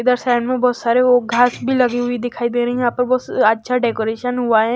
इधर साइड में बहुत सारे वो घास भी लगी हुई दिखाई दे रही हैं यहां पर बहुत अच्छा डेकोरेशन हुआ है।